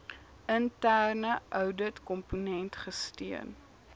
interne ouditkomponent gesteun